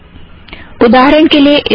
उदाहरण के लिए इस रेफ़रन्स में